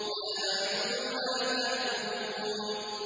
لَا أَعْبُدُ مَا تَعْبُدُونَ